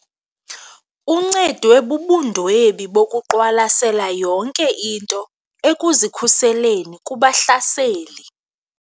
Uncedwe bubundwebi bokuqwalasela yonke into ekuzikhuseleni kubahlaseli.